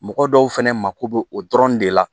Mɔgɔ dɔw fɛnɛ mako bɛ o dɔrɔn de la